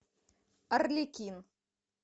арлекин